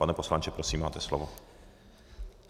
Pane poslanče, prosím, máte slovo.